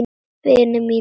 Vinir mínir.